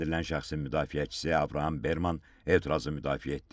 Təqsirləndirilən şəxsin müdafiəçisi Abraham Berman etirazı müdafiə etdi.